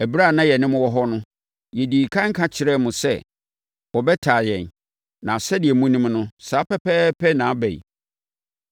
Ɛberɛ a na yɛne mo wɔ hɔ no, yɛdii ɛkan ka kyerɛɛ mo sɛ, wɔbɛtaa yɛn, na sɛdeɛ monim no, saa pɛpɛɛpɛ na aba yi.